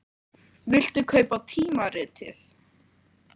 Viltu kaupa tímaritið?